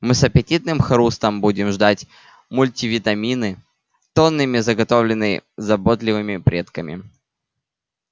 мы с аппетитным хрустом будем ждать мультивитамины тоннами заготовленные заботливыми предками